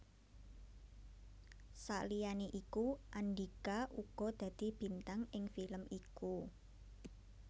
Saliyané iku Andhika uga dadi bintang ing film iku